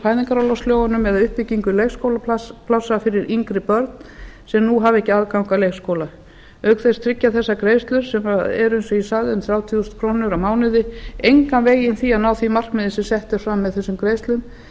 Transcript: fæðingarorlofslögunum eða uppbyggingu leikskólaplássa fyrir yngri börn sem nú hafa ekki aðgang að leikskóla auk þess tryggja þessar greiðslur sem eru eins og ég sagði um þrjátíu þúsund krónur á mánuði engan veginn það að ná því markmiði sem sett er fram með þessum greiðslum